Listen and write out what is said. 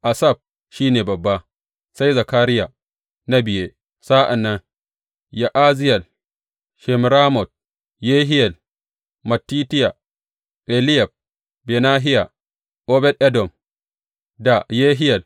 Asaf shi ne babba, sai Zakariya na biye, sa’an nan Ya’aziyel, Shemiramot, Yehiyel, Mattitiya, Eliyab, Benahiya, Obed Edom da Yehiyel.